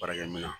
Baarakɛ minɛn